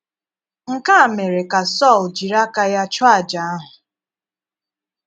Nkè a mere ka Sọl jiri aka ya chúọ àjà ahụ.